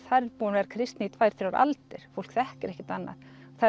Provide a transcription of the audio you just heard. þar er búin að vera kristni í tvær til þrjár aldir fólk þekkir ekkert annað